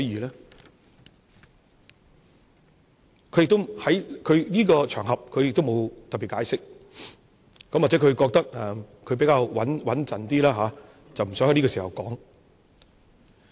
他沒有在這個場合特別解釋，也許他認為要比較穩妥，不想在這個時候說。